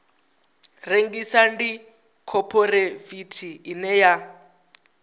rengisa ndi khophorethivi ine ya